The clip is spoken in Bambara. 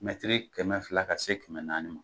Mɛtiri kɛmɛ fila ka se kɛmɛ naani ma,